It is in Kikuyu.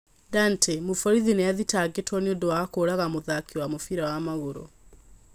Dante: mũborithi nĩ athitangĩtwo nĩundu wa kũũraga mũthaki wa mũbira wa magũru.